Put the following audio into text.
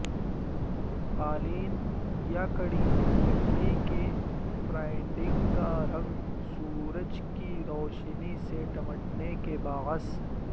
قالین یا کڑی لکڑی کے فرائڈنگ کا رنگ سورج کی روشنی سے نمٹنے کے باعث